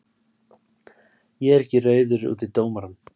Ég er ekki reiður út í dómarann.